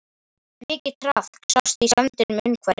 Mikið traðk sást í sandinum umhverfis.